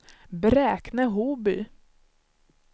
Bräkne-Hoby